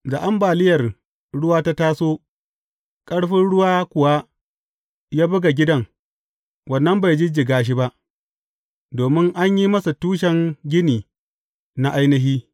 Da ambaliyar ruwa ta taso, ƙarfin ruwa kuwa ya buga gidan, wannan bai jijjiga shi ba, domin an yi masa tushen gini na ainihi.